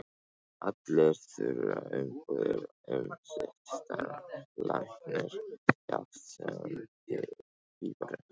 Allir þurfa umbúðir um sitt starf, læknir jafnt sem pípari.